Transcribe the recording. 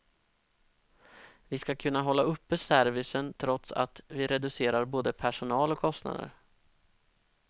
Vi ska kunna hålla uppe servicen trots att vi reducerar både personal och kostnader.